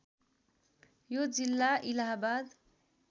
यो जिल्ला इलाहाबाद